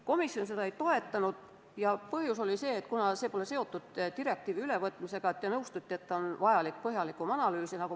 Komisjon seda ettepanekut ei toetanud ja põhjus oli selles, et see ettepanek pole seotud direktiivi ülevõtmisega ja vajab põhjalikumat analüüsi.